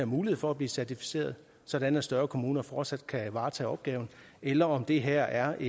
mulighed for at blive certificeret sådan at større kommuner fortsat kan varetage opgaven eller om det her er